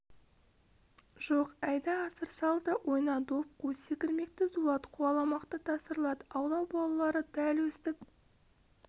жоқ әйда асыр сал да ойна доп қу секірмекті зулат қуаламақты тасырлат аула балалары дәл өстіп